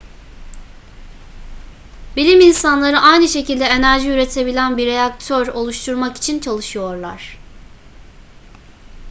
bilim insanları aynı şekilde enerji üretebilen bir reaktör oluşturmak için çalışıyorlar